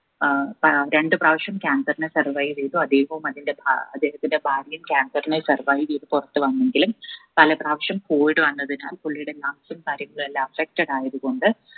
ഏർ പ രണ്ട് പ്രാവശ്യം cancer നെ survive ചെയ്തു അദ്ദേഹവും അതേഹത്തിന്റെ ഭാ അദ്ദേഹത്തിന്റെ ഭാര്യയും cancer നെ survive ചെയ്ത് പുറത്തു വന്നെങ്കിലും പല പ്രാവശ്യം COVID വന്നതിനാൽ പുള്ളിയുടെ എല്ലാം affected ആയതു കൊണ്ട്